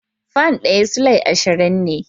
Fan ɗaya Sulai ashirin ne